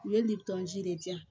U ye de di yan